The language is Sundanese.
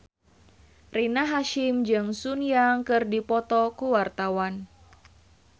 Rina Hasyim jeung Sun Yang keur dipoto ku wartawan